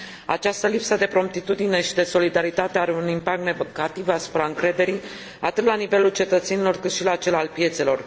Această lipsă de promptitudine și de solidaritate are un impact negativ asupra încrederii, atât la nivelul cetățenilor, cât și la cel al piețelor.